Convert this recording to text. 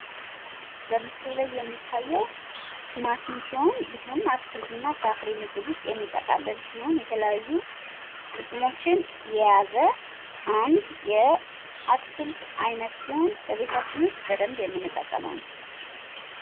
በምስሉ ላይ የሚታየው ቲማቲም ሲሆን ይህም አትክልትና ፍራፍሬ ምድብ ዉስጥ የሚጠቃለል የተለያዩ ጥቅሞችን የያዘ አንድ የአትክልት አይነት ሲሆን በቤታችንም ዉስጥ በደንብ የምንጠቀመው ነው።